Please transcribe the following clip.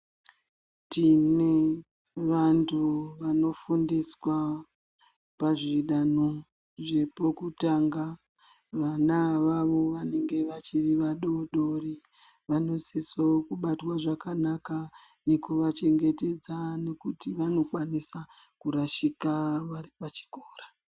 Tine vandu vanofundiswa pazvidanho zvepokutanga vana avavo vanange vachiri vadodori vanosisa kubatwa zvakanaka nekuvachengetedza nekuti vanokwanisa kurashika vari pachikora.